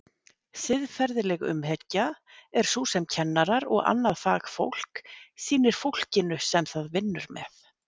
Siðferðileg umhyggja er sú sem kennarar og annað fagfólk sýnir fólkinu sem það vinnur með.